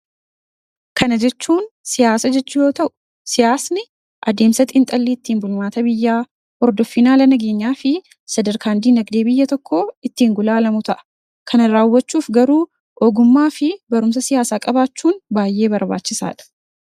Kana jechuun, siyaasa jechuu yoo ta'u, siyaasni adeemsa xiinxallii ittiin bulmaata biyyaa, hordoffii haala nageenyaafi sadarkaan diinagdee biyya tokkoo ittiin gulaalamu ta'a. Kanarraa hubachuuf garuu ogummaafi barumsa siyaasaa qabaachuun baayyee barbaachisaadha.